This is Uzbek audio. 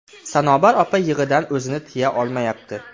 Sanobar opa yig‘idan o‘zini tiya olmayapti.